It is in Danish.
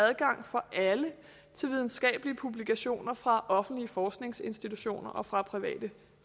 adgang for alle til videnskabelige publikationer fra offentlige forskningsinstitutioner og fra private